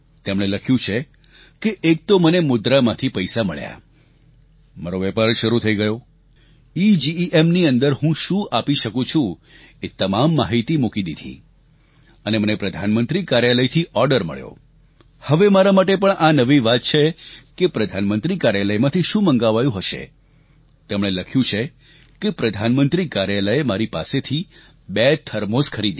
તેમણે લખ્યું છે કે એક તો મને મુદ્રા માંથી પૈસા મળ્યા મારો વેપાર શરૂ થઈ ગયો ઇજીઇએમ ની અંદર હું શું આપી શકું છું એ તમામ માહિતી મૂકી દીધી અને મને પ્રધાનમંત્રી કાર્યાલયથી શું મંગાવાયું હશે તેમણે લખ્યું છે કે પ્રધાનમંત્રી કાર્યાલયે મારી પાસેથી બે થર્મોસ ખરીદ્યા